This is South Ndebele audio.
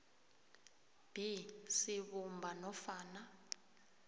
b sibumba nofana